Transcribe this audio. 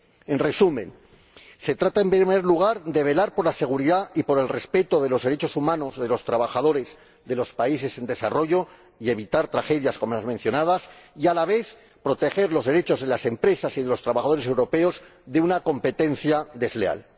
En resumen, se trata, en primer lugar, de velar por la seguridad y por el respeto de los derechos humanos, de los trabajadores, de los países en desarrollo, y de evitar tragedias como las mencionadas y, a la vez, de proteger los derechos de las empresas y de los trabajadores europeos contra una competencia desleal.